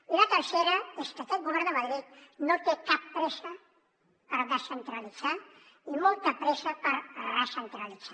i la tercera és que aquest govern de madrid no té cap pressa per descentralitzar i molta pressa per recentralitzar